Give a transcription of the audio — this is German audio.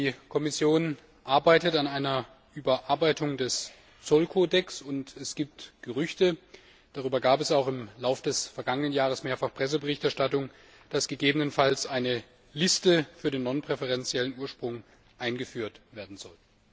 Die Kommission arbeitet an einer Überarbeitung des Zollkodex und es gibt Gerüchte darüber gab es auch im Lauf des vergangenen Jahres mehrfach Presseberichterstattungen dass gegebenenfalls eine Liste für den nonpräferenziellen Ursprung eingeführt werden soll.